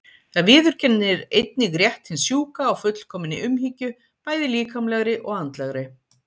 Það viðurkennir einnig rétt hins sjúka á fullkominni umhyggju, bæði líkamlegri og andlegri.